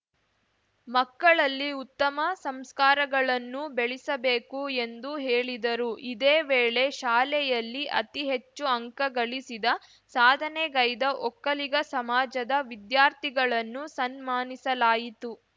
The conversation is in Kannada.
ಮಕ್ಕಳಲ್ಲಿ ಉತ್ತಮ ಸಂಸ್ಕಾರಗಳನ್ನು ಬೆಳಿಸಬೇಕು ಎಂದು ಹೇಳಿದರು ಇದೇ ವೇಳೆ ಶಾಲೆಯಲ್ಲಿ ಅತಿಹೆಚ್ಚು ಅಂಕಗಳಿಸಿದ ಸಾಧನೆಗೈದ ಒಕ್ಕಲಿಗ ಸಮಾಜದ ವಿದ್ಯಾರ್ಥಿಗಳನ್ನು ಸನ್ನಾನಿಸಲಾಯಿತು